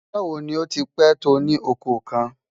Báwo ni ó ti pẹ̀ tó ní ọkọ̀ kan?